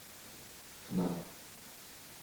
фнаф